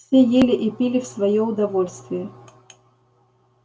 все ели и пили в своё удовольствие